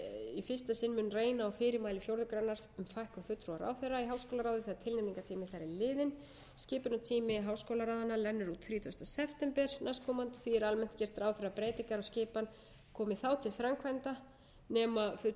í fyrsta sinn mun reyna á fyrirmæli fjórðu grein um fækkun fulltrúa ráðherra í háskólaráði þegar tilnefningartími þeirra er liðinn skipunartími háskólaráðanna rennur út þrítugasta september næstkomandi því er almennt gert ráð fyrir að breytingar á skipan komi þá til framkvæmda nema fulltrúar biðjist lausnar fyrr